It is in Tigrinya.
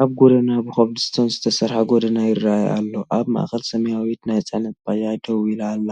ኣብ ጎደና ብኮብልስቶን ዝተሰርሐ ጎደና ይረኣይ ኣሎ። ኣብ ማእከል ሰማያዊት ናይ ጽዕነት ባጃጅ ደው ኢላ ኣላ።